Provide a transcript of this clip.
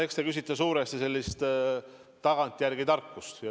Eks te küsite suuresti sellist tagantjärele tarkust.